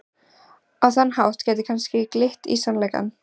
Á þann hátt geti kannski glitt í sannleikann.